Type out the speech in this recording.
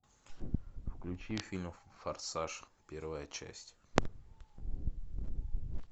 включи фильм форсаж первая часть